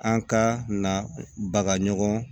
An ka na bagan